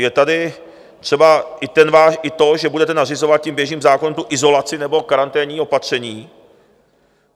Je tady třeba i to, že budete nařizovat tím běžným zákonem tu izolaci nebo karanténní opatření.